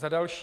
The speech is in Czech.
Za další.